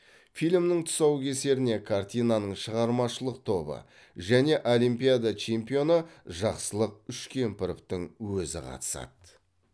фильмнің тұсаукесеріне картинаның шығармашылық тобы және олимпиада чемпионы жақсылық үшкемпіровтың өзі қатысады